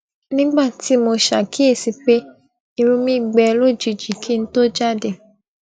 nígbà tí mo ṣàkíyèsi pé irun mí gbẹ lójijì kí n tó jàde